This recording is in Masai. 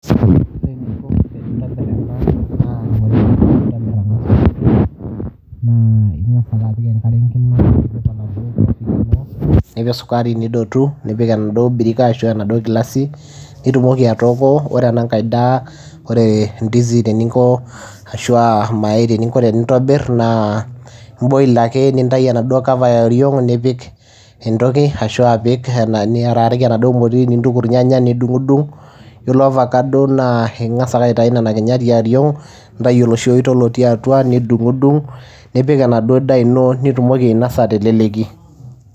Ore ininko tenintobirr enaa naa ing'as ake apik enkare enkima, nipik sukari nidotu nipik enaaduo birika ashuu enaaduo kilasi netumoki atooko, ore enankae daa ore ndizi ashu enankae daa eninko tenintobirr naa imboil ake nintayu enaduo cover yooriong' nintuku irnyanya nidung'udung', ore ovakado naa ing'as ake aitayu Nena kinyat yooriong' nintayu oloshi ooito otii atua nidung'udung', nipik enaduo daa ino nitumoki ainosa te leleki.